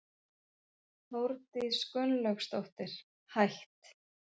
Þórdís Gunnlaugsdóttir, hætt